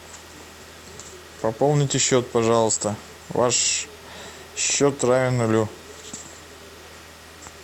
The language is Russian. пополните счет пожалуйста ваш счет равен нулю